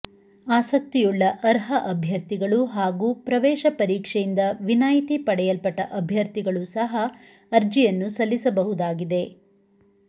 ಆಸಕ್ತಿಯುಳ್ಳ ಅರ್ಹ ಅಭ್ಯರ್ಥಿಗಳು ಹಾಗೂ ಪ್ರವೇಶ ಪರೀಕ್ಷೆಯಿಂದ ವಿನಾಯಿತಿ ಪಡೆಯಲ್ಪಟ್ಟ ಅಭ್ಯರ್ಥಿಗಳು ಸಹ ಅರ್ಜಿಯನ್ನು ಸಲ್ಲಿಸಬಹುದಾಗಿದೆ